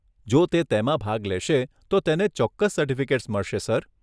જો તે તેમાં ભાગ લેશે તો તેને ચોક્કસ સર્ટિફિકેટ્સ મળશે સર.